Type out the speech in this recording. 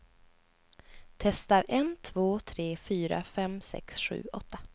Testar en två tre fyra fem sex sju åtta.